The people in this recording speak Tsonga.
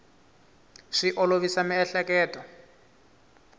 swi olovisa miehleketo